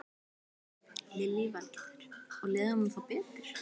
Lillý Valgerður: Og leið honum þá betur?